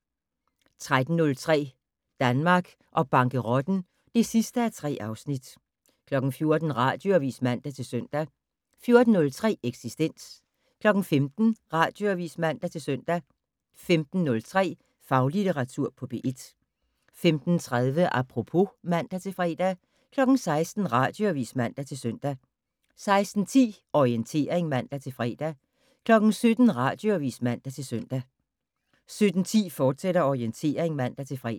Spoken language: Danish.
13:03: Danmark og bankerotten (3:3) 14:00: Radioavis (man-søn) 14:03: Eksistens 15:00: Radioavis (man-søn) 15:03: Faglitteratur på P1 15:30: Apropos (man-fre) 16:00: Radioavis (man-søn) 16:10: Orientering (man-fre) 17:00: Radioavis (man-søn) 17:10: Orientering, fortsat (man-fre)